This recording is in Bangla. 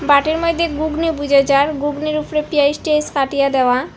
বাটির মইদ্যে গুগনি বুজা যার গুগনির উপরে পিঁয়াজ টিয়াজ কাটিয়া দেওয়া।